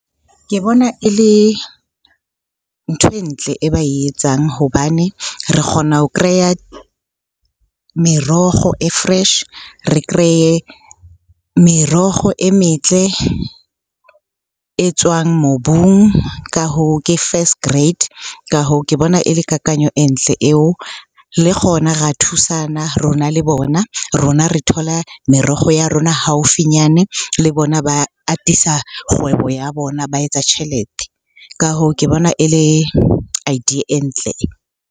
Ke bona e le ntho e ntle e ba e etsang. Hobane re kgona ho kreya meroho e fresh, re kreye meroho e metle e tswang mobung. Ka hoo ke first grade. Ka hoo, ke bona e le kakanyo e ntle eo. Le kgona ra thusana, rona le bona. Rona re thola meroho ya rona haufinyane le bona ba atisa kgwebo ya bona, ba etsa tjhelete. Ka hoo, ke bona e le idea e ntle .